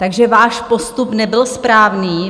Takže váš postup nebyl správný.